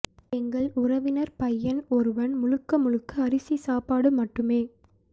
எங்கள் உறவினர் பையன் ஒருவன் முழுக்க முழுக்க அரிசி சாப்பாடு மட்டுமே